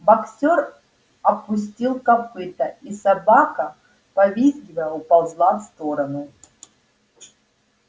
боксёр опустил копыто и собака повизгивая уползла в сторону